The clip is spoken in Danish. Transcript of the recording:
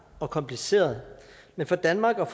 og kompliceret men for danmark og